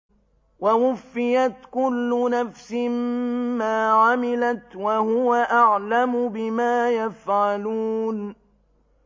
وَوُفِّيَتْ كُلُّ نَفْسٍ مَّا عَمِلَتْ وَهُوَ أَعْلَمُ بِمَا يَفْعَلُونَ